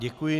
Děkuji.